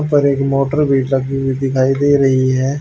ऊपर एक मोटर भी लगी हुई दिखाई दे रही है।